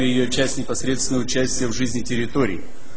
и её часть непосредственное участие в жизни территории